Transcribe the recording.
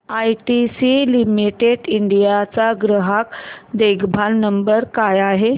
ITC limited India चा ग्राहक देखभाल नंबर काय आहे